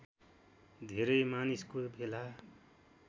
धेरै मानिसको भेला